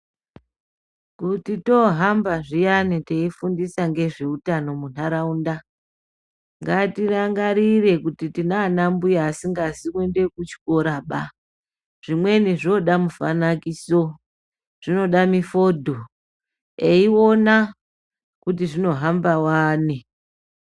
Kuti toohamba zviyani teifundisa ngezveutano mundaraunda, ngatirangarire kuti tinaana mbuya asingazi kuende kuchikora baa, zvimweni zvoda mifanakiso, zvinoda mifodho eiona kuti zvinohamba wani.